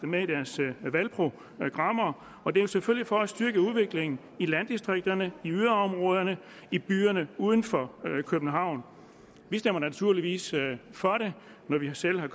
med i deres valgprogrammer og det er selvfølgelig for at styrke udviklingen i landdistrikterne i yderområderne i byerne uden for københavn vi stemmer naturligvis for det når vi selv har